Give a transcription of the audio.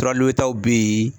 Tura taw bɛ yen